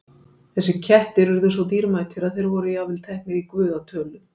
Þessir kettir urðu svo dýrmætir að þeir voru jafnvel teknir í guða tölu.